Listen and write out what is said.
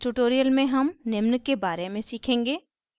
इस tutorial में हम निम्न के बारे में सीखेंगे